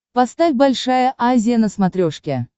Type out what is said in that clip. поставь большая азия на смотрешке